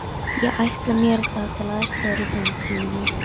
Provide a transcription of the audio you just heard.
Ég ætla mér þá til aðstoðar í framtíðinni.